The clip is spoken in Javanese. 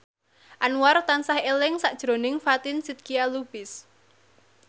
Anwar tansah eling sakjroning Fatin Shidqia Lubis